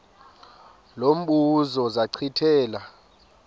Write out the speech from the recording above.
lo mbuzo zachithela